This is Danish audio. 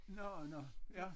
Nå nå ja